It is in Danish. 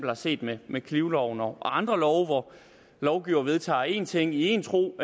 har set med med knivloven og andre love hvor lovgiver vedtager én ting i én tro